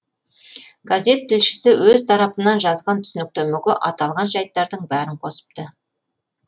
газет тілшісі өз тарапынан жазған түсініктемеге аталған жайттардың бәрін қосыпты